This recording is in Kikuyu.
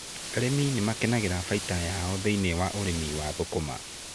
Arĩmi nĩ makenagĩra baita yao thĩiniĩ wa ũrĩmi wa thũkũma.